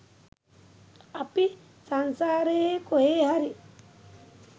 අපි සංසාරයේ කොහේ හරි